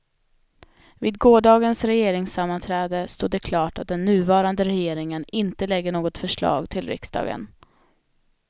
Vid gårdagens regeringssammanträde stod det klart att den nuvarande regeringen inte lägger något förslag till riksdagen.